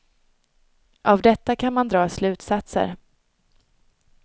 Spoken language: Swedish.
Av detta kan man dra slutsatser.